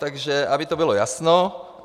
Takže aby to bylo jasno.